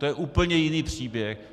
To je úplně jiný příběh.